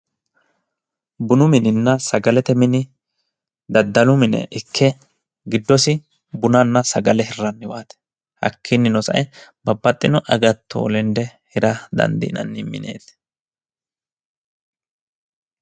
Bunu mininna sagalete mini daddalu mine ikke giddosi bunanna sagale hirranniwaati, hakkiinnino sae babbaxxino agatto lende hira dandiinanni mineeti.